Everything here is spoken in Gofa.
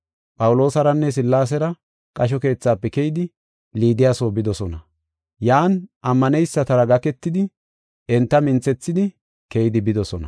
Phawuloosaranne Sillaasera qasho keethafe keyidi Liidiya soo bidosona. Yan ammaneysatara gaketidi enta minthethidi keydi bidosona.